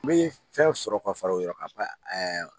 N bɛ fɛn sɔrɔ ka fara o yɔrɔ kan ɛɛ